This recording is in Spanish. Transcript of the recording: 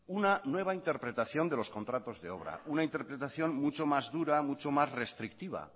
una nueva interpretación de los contratos de obra una interpretación mucho más dura mucho más restrictiva